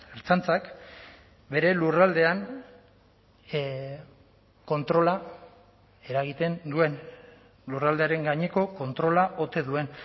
ertzaintzak bere lurraldean kontrola eragiten duen lurraldearen gaineko kontrola ote duen